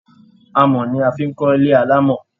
Amọ̀ ni a fi ń kọ́ ń kọ́ ilé alámọ̀